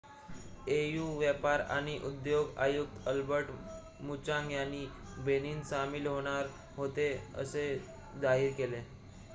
au व्यापार आणि उद्योग आयुक्त अल्बर्ट मुचांग यांनी बेनिन सामील होणार होते असे जाहीर केले